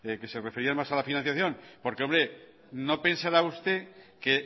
que se refería más a la financiación porque hombre no pensará usted que